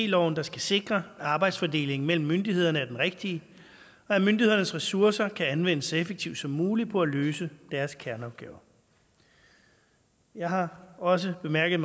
loven der skal sikre at arbejdsfordelingen mellem myndighederne er den rigtige og at myndighedernes ressourcer kan anvendes så effektivt som muligt på at løse deres kerneopgaver jeg har også bemærket